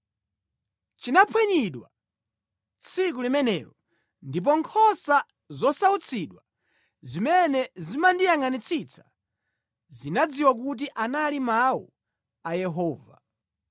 Linaphwanyidwa tsiku limenelo ndipo nkhosa zosautsidwa zimene zimandiyangʼanitsitsa zinadziwa kuti anali mawu a Yehova.